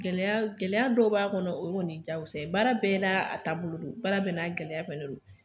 Gɛlɛya gɛlɛya dɔw b'a kɔnɔ o kɔni diyagosa ye, baara bɛɛ n'a a taabolo don, baara bɛɛ n'a gɛlɛya fɛnɛ don.